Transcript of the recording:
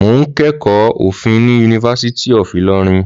Mò ń kẹ́kọ̀ọ́ òfin ní Univeristy of Ilorin